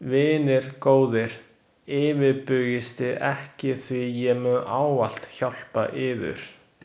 Vinir góðir, yfirbugisti ekki því ég mun ávallt hjálpa yður.